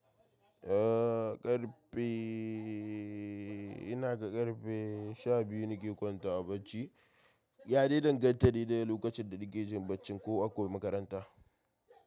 Eh ƙarfe ina ga ƙarfe sha biyu nake kwantawa bacci. Ya dai dangantakane dai da lokacin da nake jin bacci ko akwai makaranta?